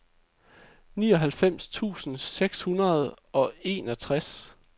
nioghalvfems tusind seks hundrede og enogtres